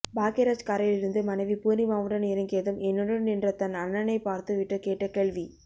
பாக்யராஜ் காரில் இருந்து மனைவி பூர்ணிமாவுடன் இறங்கியதும் என்னுடன் நின்ற தன் அண்ணனைப் பார்த்து விட்டு கேட்ட கேள்வி